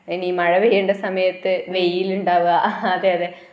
ഇനി മഴ പെയ്യേണ്ട സമയത്തു വെയിലുണ്ടാവുക അഹ ഹ അതെ അതെ